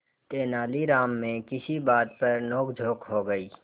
तेनालीराम में किसी बात पर नोकझोंक हो गई